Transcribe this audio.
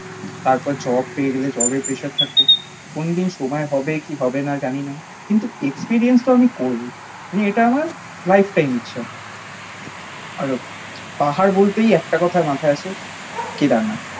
তারপর জব পেয়ে গেলে জবের প্রেসার থাকবে। কোনদিন সময় হবে কি হবে না জানিনা কিন্তু এক্সপেরিয়েন্স তো আমি করবোই। মানে এটা আমার লাইফটাইম ইচ্ছা। আর পাহাড় বলতেই একটা কথা মাথায় আসে কেদারনাথ।